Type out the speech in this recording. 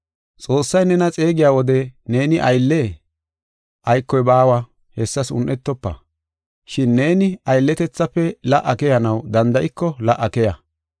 Xoossay nena xeegiya wode neeni ayllee? Aykoy baawa hessas un7etofa. Shin neeni aylletethafe la77a keyanaw danda7iko la77a keya.